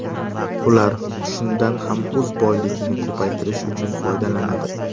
Ular shundan ham o‘z boyligini ko‘paytirish uchun foydalanadi.